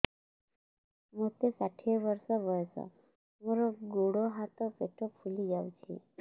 ମୋତେ ଷାଠିଏ ବର୍ଷ ବୟସ ମୋର ଗୋଡୋ ହାତ ପେଟ ଫୁଲି ଯାଉଛି